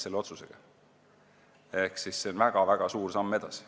See on väga-väga suur samm edasi.